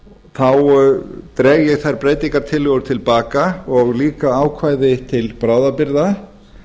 þá dreg ég þær breytingartillögur til baka og líka ákvæði til bráðabirgða